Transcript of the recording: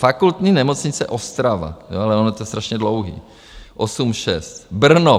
Fakultní nemocnice Ostrava - ono je to strašně dlouhý - 8,6, Brno.